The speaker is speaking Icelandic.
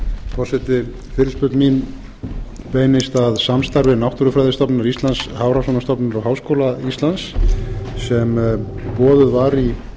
forseti fyrirspurn mín beinist að samstarfi náttúrufræðistofnunar íslands hafrannsóknastofnunar og háskóla íslands sem boðuð var í